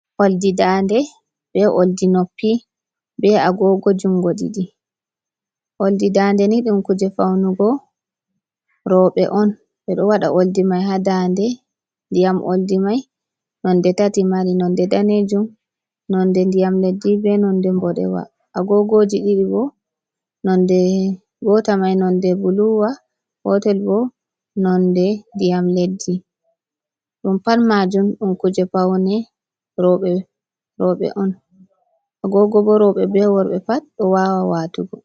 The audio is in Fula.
Oldi dade be oldi noppi, be agogo jungo ɗiɗi oldi daande ni ɗum kuje faunugo roɓɓe on ɓe ɗo waɗa oldi mai ha daande ndiyam oldi mai nonde tati mari nonde danejum, nonde ndiyam leddi, be nonde boɗewa, a gogoji ɗiɗi bo nonde gota mai nonde buluwa, nonde gotel bo nonde ndiyam leddi, ɗum pat majum ɗum kuje faune roɓɓe a gogo bo roɓɓe be worɓɓe pat ɗo wawa watugo.